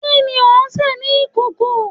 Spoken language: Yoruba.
Kini o nse ni ikoko?